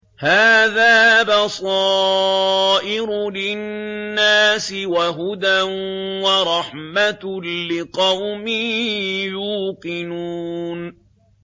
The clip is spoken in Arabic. هَٰذَا بَصَائِرُ لِلنَّاسِ وَهُدًى وَرَحْمَةٌ لِّقَوْمٍ يُوقِنُونَ